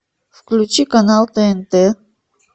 включи канал тнт